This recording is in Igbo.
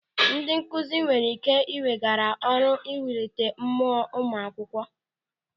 Ndị nkụzi nwere ike ị weghara ọrụ iwulite mmụọ ụmụ akwụkwọ.